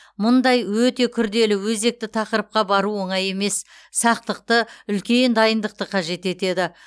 мұндай өте күрделі өзекті тақырыпқа бару оңай емес сақтықты үлкен дайындықты қажет етеді